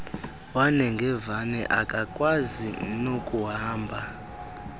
wanengevane akakwazi nokuhamba